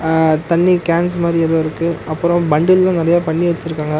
அ தண்ணி கேன்ஸ் மாரி ஏதோ இருக்கு அப்பறோ பண்டில்லா நறையா பண்ணி வெச்சிருக்காங்க.